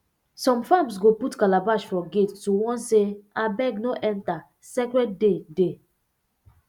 some farms go put calabash for gate to warn say abeg no enter sacred day dey